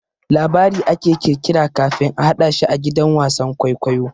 Labari ake kirkira kafin a hadashi a gidan wasan kwaikwayo.